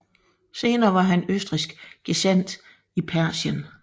Senere var han østrigsk gesandt i Persien